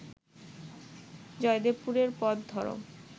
জয়দেবপুরের পথ ধরো